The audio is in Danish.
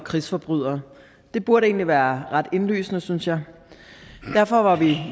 og krigsforbrydere det burde egentlig være ret indlysende synes jeg derfor var vi